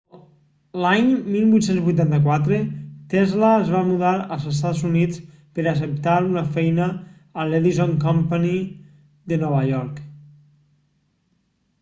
l'any 1884 tesla es va mudar als estats units per acceptar una feina a l'edison company de nova york